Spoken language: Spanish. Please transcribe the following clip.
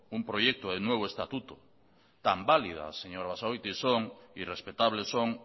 un proyecto del nuevo estatuto tan válida señor basagoiti y respetables son